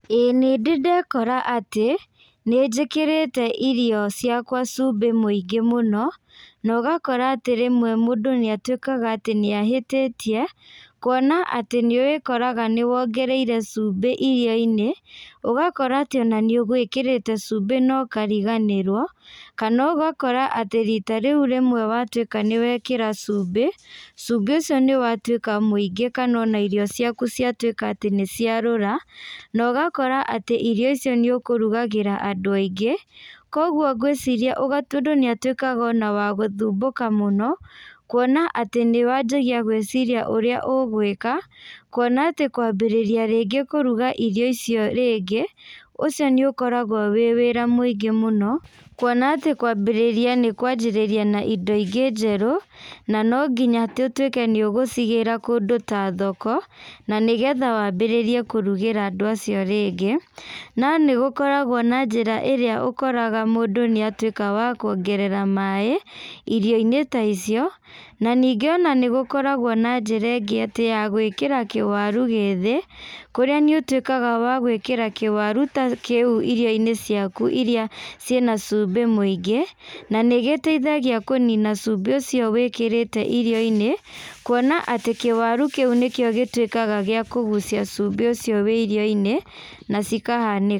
Ĩĩ nĩndĩ ndekora atĩ, nĩnjĩkĩrĩte irio ciakwa cumbĩ mũĩngĩ mũno, na ũgakora atĩ rĩmwe mũndũ nĩatuĩkaga atĩ nĩahĩtĩtie, kuona atĩ nĩwĩkoraga nĩwongereire cumbĩ irio-inĩ, ũgakora atĩ ona nĩ ũgwĩkĩrĩte cumbĩ na ũkariganĩrwo, kana ũgakora atĩ rita rĩu rĩmwe watuĩka nĩwekĩra cumbĩ, cumbĩ ũcio nĩwatuĩka mũingĩ kana ona irio ciaku ciatuĩka atĩ nĩciarũra, na ũgakora atĩ irio icio nĩũkũrugagĩra andũ aingĩ, koguo ngwĩciria mũndũ nĩatuĩkaga ona wa gũthumbũka mũno, kuona atĩ nĩwanjagia gwĩciria ũrĩa ũgwĩka, kuona atĩ kwambĩrĩria rĩngĩ kũruga irio icio rĩngĩ, ũcio nĩũkoragwo wĩ wĩra mũingĩ mũno, kuona atĩ kwambĩrĩria nĩkwanjĩrĩria na indo ingĩ njerũ, na no nginya atĩ ũtuĩke nĩũgũcigĩra kũndũ ta thoko, na nĩgetha wambĩrĩrie kũrugĩra andũ acio rĩngĩ, no nĩgũkoragwo na njĩra ĩrĩa ũkoraga mũndũ nĩatuĩka wa kuongerera maĩ, irio inĩ ta icio, na ningĩ ona nĩgũkoragwo na njĩra ingĩ atĩ ya gwĩkĩra kĩwaru gĩthĩ, kũrĩa nĩũtuĩkaga wa gwĩkĩra kĩwaru ta kĩu irioinĩ ciaku iria ciĩna cumbĩ mũingĩ, na nĩgeteithagia kũnina cumbĩ ũcio wĩkĩrĩte irio-inĩ, kuona atĩ kĩwaru kĩu nĩkĩo gĩtuĩkaga gĩa kũgucia cumbĩ ucio wĩ irio-inĩ, na cikaha.